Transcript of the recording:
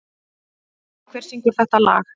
Villa, hver syngur þetta lag?